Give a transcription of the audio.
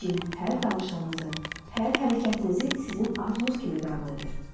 Cin hər danışığınızı, hər hərəkətinizi sizin arzunuz kimi qəbul edir.